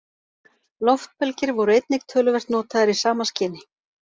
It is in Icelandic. Loftbelgir voru einnig töluvert notaðir í sama skyni.